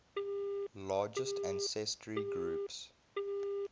largest ancestry groups